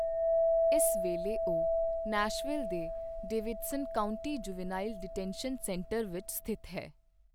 ਇਸ ਵੇਲੇ ਉਹ ਨੈਸ਼ਵਿਲ ਦੇ Davidson County juvenile detention centre ਵਿੱਚ ਸਥਿਤ ਹੈ।